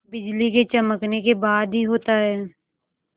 बिजली के चमकने के बाद ही होता है